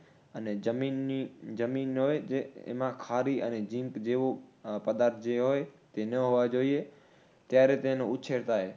અને જમીનની, જમીન હોય તે એમાં ખારી અને જીંટ બેવ પદાર્થ જે હોય તે ન હોવા જોઈએ. ત્યારે તેનો ઉછેર થાય.